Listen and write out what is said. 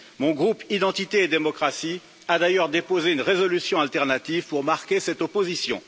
Mon groupe Identité et démocratie a d'ailleurs déposé une résolution alternative pour marquer cette opposition.